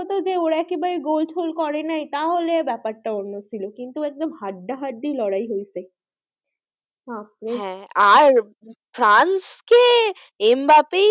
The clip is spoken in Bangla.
যে ওরা একেবারে গোল টোল করে নাই তা হলে আলাদা ব্যাপারটা অন্য ছিল কিন্তু একদম হাড্ডাহাড্ডি লড়াই হয়েছে বাপরে আহ হ্যাঁ আর ফ্রান্স কে এম বাফেই,